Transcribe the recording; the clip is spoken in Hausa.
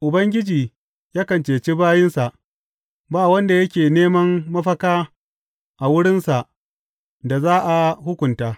Ubangiji yakan cece bayinsa; ba wanda yake neman mafaka a wurinsa da za a hukunta.